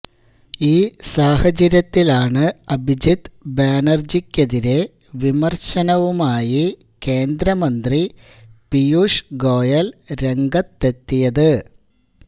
ഈ സാഹചര്യത്തിലാണു അഭിജിത്ത് ബാനര്ജിക്കെതിരേ വിമര്ശനവുമായി കേന്ദ്രമന്ത്രി പിയൂഷ് ഗോയല് രംഗത്തെത്തിയത്